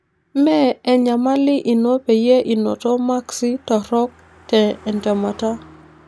Me enyamali ino peyie inoto maksi torrok te entemata